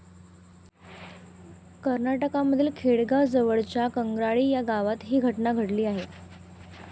कर्नाटकमधील बेळगाव जवळच्या कंग्राळी या गावात ही घटना घडली आहे.